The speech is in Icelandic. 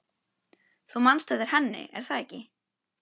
Þú manst eftir henni, er það ekki?